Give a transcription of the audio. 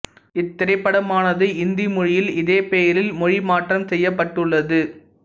இத்திரைப்படமானது இந்தி மொழியில் இதே பெயரில் மொழி மாற்றம் செய்யப்பட்டுள்ளது